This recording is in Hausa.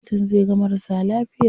Likitan zai ga marasa lafiya.